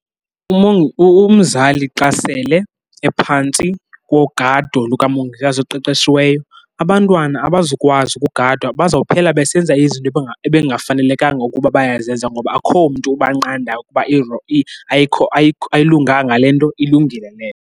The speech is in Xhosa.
Umzali xa sele ephantsi kogado lukamongikazi oqeqeshiweyo, abantwana abazukwazi ukugadwa bazawuphela besenza izinto ebekungafanelekanga ukuba bayazenza ngoba akukho mntu ukubanqanda ukuba ayilunganga le nto, ilungile le.